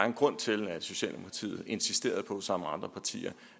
en grund til at socialdemokratiet insisterede på sammen med andre partier